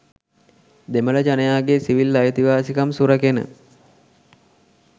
දෙමළ ජනයාගේ සිවිල් අයිතිවාසිකම් සුරැකෙන